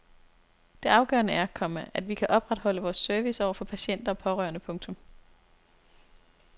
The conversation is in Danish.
Det afgørende er, komma at vi kan opretholde vores service over for patienter og pårørende. punktum